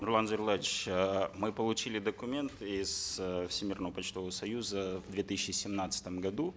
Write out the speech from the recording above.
нурлан зайроллаевич э мы получили документы из э всемирного почтового союза в две тысячи семнадцатом году